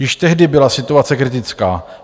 Již tehdy byla situace kritická.